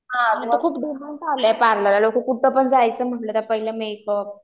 हां आता खूप डिमांड आला आहे पार्लरला आता कुठं जायचं म्हंटलं तर मेकअप